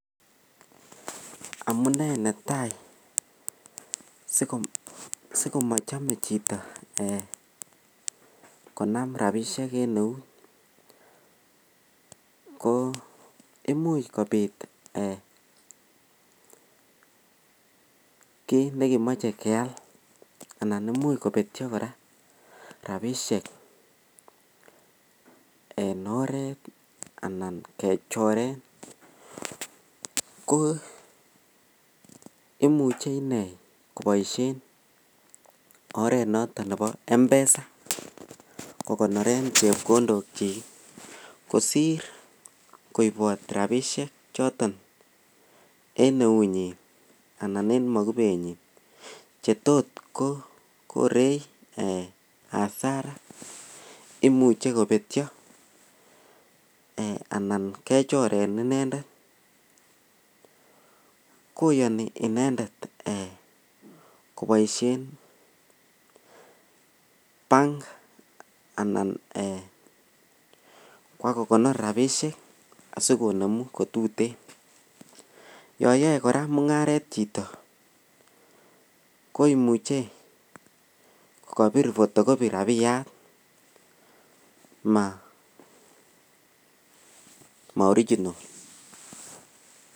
Amunei netai sikomachame Chito Kona rabishek en nout ko imuch kobit kit nekemache keyal anan koimuche kobetyo koraa rabishek en oret anan choret ko imuche inei kobaishen oret noton Nebo mpesa kokonoren chepkondok kosir koibot rabishek choton en neunyin anan en makubenyin chetot Korea Asara imuche kobetyo anan kechoren inendetvkoyani inendet kobaishen bank anan Koba kokonor rabishek sikonemu kotuten yayae koraa mungaret Chito koimuche Kabir photocopy rabiyat maoriginal